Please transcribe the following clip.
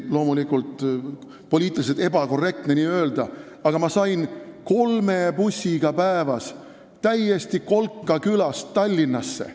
Loomulikult on poliitiliselt ebakorrektne nii öelda, aga ma sain siis päevas kolme bussiga täielikust kolkakülast Tallinnasse.